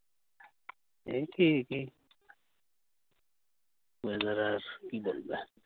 একই একই। weather আর কি দেখবে